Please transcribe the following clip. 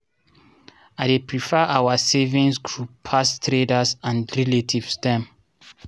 i dey prefer our savigns group pass traders and relatives dem.